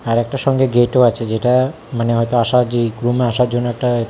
আর একটা সঙ্গে গেটও আছে যেটা মানে হয়তো আসা জি গ্রুমে আসার জন্য একটা এ থা--